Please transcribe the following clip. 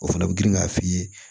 O fana bɛ girin k'a f'i ye